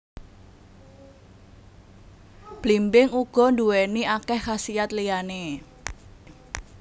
Blimbing uga nduwéni akéh khasiat liyané